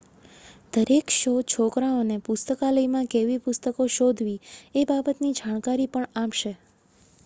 દરેક શો છોકરાઓ ને પુસ્તકાલયમાં કેવી પુસ્તકો શોધવી એ બાબત ની જાણકારી પણ આપશે